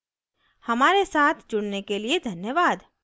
हमारे साथ जुड़ने के लिए धन्यवाद